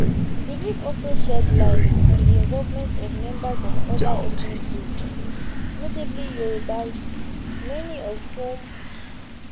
di book also shed light on the involvement of members of oda ethnic groups notably yorubas many of whom